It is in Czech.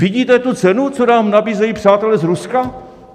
Vidíte tu cenu, co nám nabízejí přátelé z Ruska?